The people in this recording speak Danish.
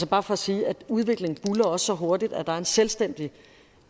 bare for at sige at udviklingen buldrer så hurtigt at der er en selvstændig